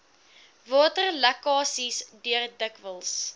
waterlekkasies deur dikwels